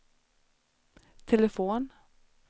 telefon